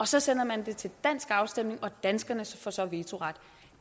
så sender man det til dansk afstemning og danskerne får så vetoret